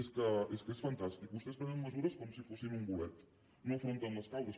és que és fantàstic vostès prenen mesures com si fossin un bolet no n’afronten les causes